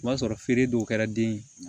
O b'a sɔrɔ feere dɔw kɛra den ye